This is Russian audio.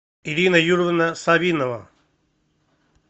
ирина юрьевна савинова